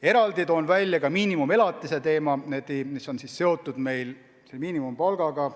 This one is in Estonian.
Eraldi toon välja miinimumelatise teema, mis on meil seotud miinimumpalgaga.